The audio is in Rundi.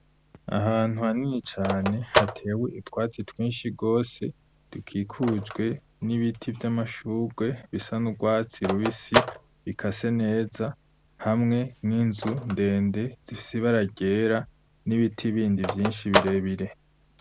Ahantu hanini cane hatewe utwatsi twinshi rwose tukikujwe n'ibiti vy'amashugwe bisa n'urwatsi rubisi bikase neza, hamwe n'inzu ndende zifse ibara ryera, n'ibiti bindi vyinshi birebire.